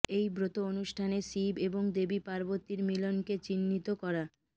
এই ব্রত অনুষ্ঠানে শিব এবং দেবী পার্বতীর মিলনকে চিহ্নিত করা